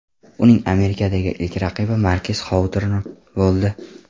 Uning Amerikadagi ilk raqibi Markes Xoutorn bo‘ldi.